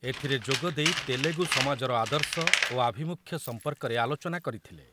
ଏଥିରେ ଯୋଗଦେଇ ତେଲେଗୁ ସମାଜର ଆଦର୍ଶ ଓ ଆଭିମୁଖ୍ୟ ସମ୍ପର୍କରେ ଆଲୋଚନା କରିଥିଲେ ।